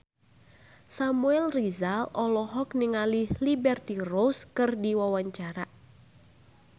Samuel Rizal olohok ningali Liberty Ross keur diwawancara